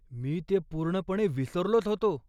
मी ते पूर्णपणे विसरलोच होतो.